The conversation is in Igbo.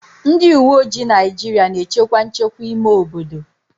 Ndị uweojii Naịjirịa na-echekwa nchekwa ime obodo